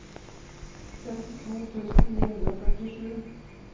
femtito tusen ni hundre og førtisju